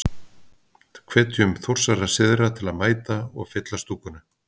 Hvetjum Þórsara syðra til að mæta og. fylla stúkuna?